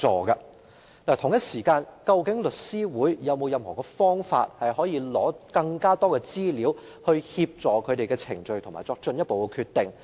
與此同時，律師會有否其他方法可以取得更多資料，以協助進行相關程序並作進一步決定？